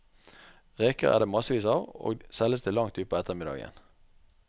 Reker er det massevis av, og selges til langt utpå ettermiddagen.